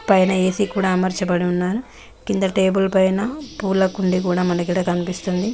పైన ఏసీ కూడా అమర్చబడి వున్నారు కింద టేబుల్ పైనా పూలకుండీ కూడా మనకీడ కనిపిస్తుంది.